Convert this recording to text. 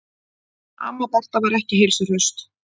Amma Berta var ekki heilsuhraust.